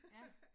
Ja